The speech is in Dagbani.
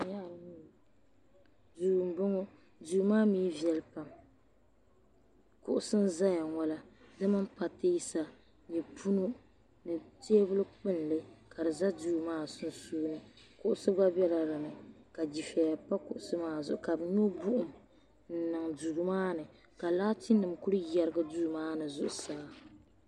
Duu m bɔŋɔ duu maa mii viɛli pam kuɣusi n zaya ŋɔ la di mini patɛsa nyɛ punu di tɛbuli kpulli ka di za duu maa sunsuuni kuɣusi gba bɛla din ni ka fifɛya pa kuɣusi maa zuɣu ka bɛ nyɔ buɣum niŋ duu maa ni ka laati nim kuli gɛrigi duu maa ni zuɣusaa.